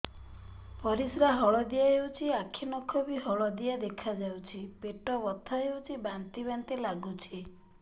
ପରିସ୍ରା ହଳଦିଆ ହେଉଛି ଆଖି ନଖ ବି ହଳଦିଆ ଦେଖାଯାଉଛି ପେଟ ବଥା ହେଉଛି ବାନ୍ତି ବାନ୍ତି ଲାଗୁଛି